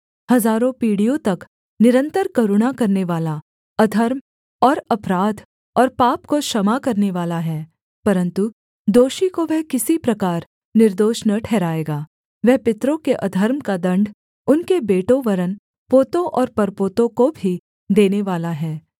हजारों पीढ़ियों तक निरन्तर करुणा करनेवाला अधर्म और अपराध और पाप को क्षमा करनेवाला है परन्तु दोषी को वह किसी प्रकार निर्दोष न ठहराएगा वह पितरों के अधर्म का दण्ड उनके बेटों वरन् पोतों और परपोतों को भी देनेवाला है